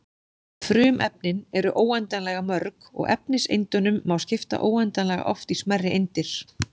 Frumefnin eru óendanlega mörg og efniseindunum má skipta óendanlega oft í smærri eindir.